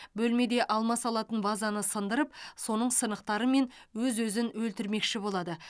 бөлмеде алма салатын вазаны сындырып соның сынықтарымен өз өзін өлтірмекші болады